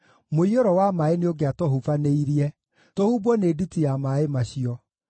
mũiyũro wa maaĩ nĩũngĩatũhubanĩirie, tũhumbwo nĩ nditi ya maaĩ macio;